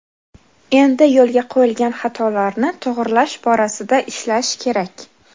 Endi yo‘lga qo‘yilgan xatolarni to‘g‘rilash borasida ishlash kerak.